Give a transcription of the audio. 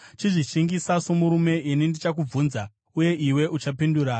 Chizvishingisa somurume; ini ndichakubvunza, uye iwe uchandipindura.